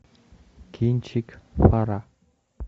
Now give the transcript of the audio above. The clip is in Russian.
кинчик фара